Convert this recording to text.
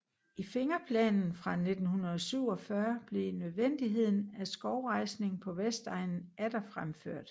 I Fingerplanen fra 1947 blev nødvendigheden af skovrejsning på Vestegnen atter fremført